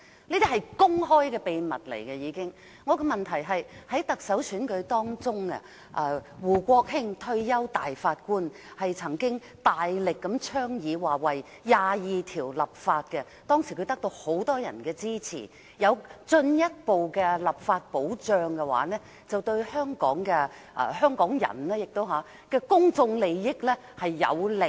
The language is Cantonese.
我的補充質詢是，在行政長官選舉中，退休大法官胡國興曾經大力倡議為《基本法》第二十二條立法，當時很多人支持他，認為如果有進一步的立法保障的話，便對香港人的公眾利益有利。